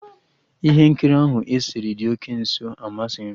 Ihe nkiri ahụ esere dị oke nso amasịghị m